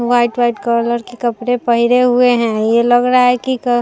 white white colour के कपडे पहने हुए है ये लग रहा की क --